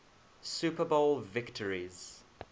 super bowl victories